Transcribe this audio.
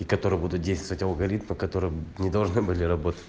которые будут действовать алгоритмы которые не должны были работать